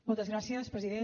moltes gràcies president